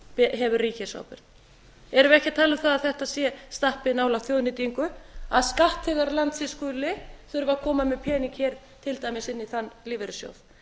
hefur ríkisábyrgð erum við ekki að tala um það að þetta stappi nálægt þjóðnýtingu að skattþegar landsins skuli þurfa að koma með pening hér til dæmis inn í þann lífeyrissjóð